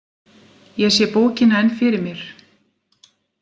Ég sé bókina enn fyrir mér.